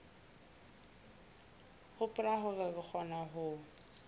hopola hore re kgona ho